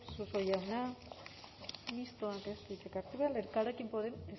suso jauna mistoak ez du hitzik hartu behar elkarrekin podemos